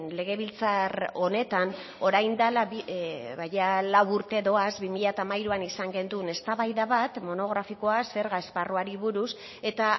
legebiltzar honetan orain dela lau urte doaz bi mila hamairuan izan genuen eztabaida bat monografikoa zerga esparruari buruz eta